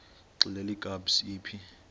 xelel kabs iphi